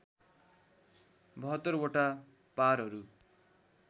७२ वटा पारहरू